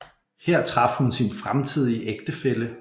Her traf hun sin fremtidige ægtefælle